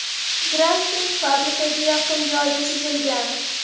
Graffiti fabrikaga yaqin joyda chizilgan.